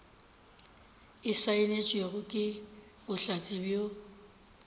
e saenetšwego ke bohlatse bjo